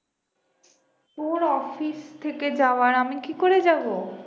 তোর অফিস থেকে যাওয়ার আমি কি করে যাবো?